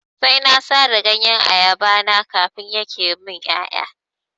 Sai na sare ganyen ayaba na kafin yake min ƴaƴa.